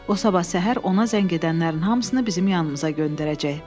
O sabah səhər ona zəng edənlərin hamısını bizim yanımıza göndərəcək.